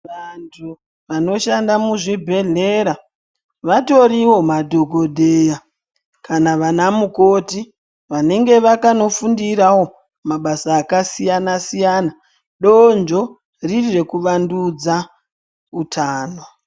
Vantu vanoshanda muzvibhehleya vatoriwo madhokodheya kana vana mukoti vanenge vakaenda kunofundirawo mabasa akasiyana siyana donzvo riri rekuvandudza utano.